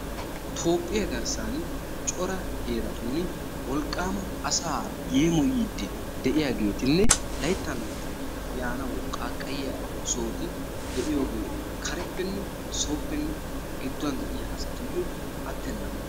toohphiya garssan cora heeratun wolqaama asaa yeemoyiid de'iyaageetinne layttan layttan yanawu qaaqayiya sohoti de'iyooge kareppene sooppenne gidduwan yiya asatuyo atenaba.